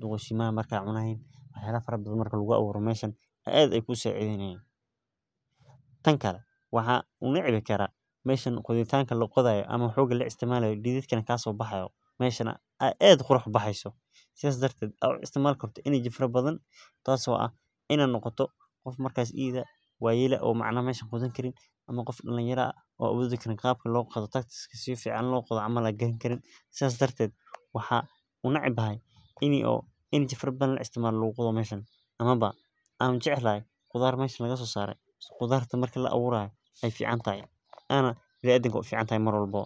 duqeshimaha markay cunayhin wax yala fara bathan markin lagu awuro meshan ad ay kusacideynayin, tan kale waxaan u nici karaah meshan qoditanka laqodayo ama xoga la isticmalayo didhidka kasobaxayo meshan ay ad qorax ubaxeyso, sas darted ad u isticmalim karto [energy] fara bathan, tas oo ah inaa noqoto qof markas idh ah wayel ah oo macnah mesh qodan karin ama qof dalinyaro ah oo awodi karin qabki lo qodo tactics kasifican in lo qodo camal an garan karin, sas darted waxaa u necbahay ini oo energy fara bathan laisticmalo luguqodo meshan, ama ba anjeclhy qudar meshan lagasosare qudarta marki la awurayo ay ficantyahay anaa bini adamka wey uficantahay mar walbabo.